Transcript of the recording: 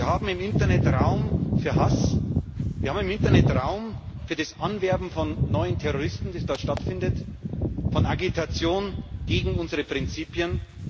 Wir haben im Internet Raum für Hass, wir haben im Internet Raum für das Anwerben von neuen Terroristen, das dort stattfindet, für Agitation gegen unsere Prinzipien.